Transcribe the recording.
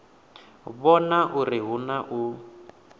vhona uri hu na u